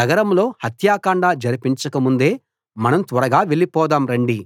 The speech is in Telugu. నగరంలో హత్యాకాండ జరిపించకముందే మనం త్వరగా వెళ్లిపోదాం రండి